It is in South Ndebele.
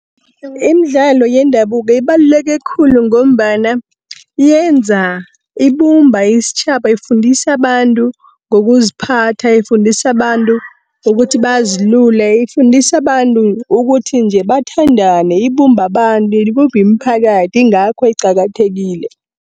Imidlalo yendabuko ibaluleke khulu ngombana yenza, ibumba istjhaba. Ifundisa abantu ngokuziphatha, ifundisa abantu ngokuthi bazilule. Ifundisa abantu ukuthi nje bathandane, ibumba abantu, ibumbi imiphakathi ingakho iqakathekile.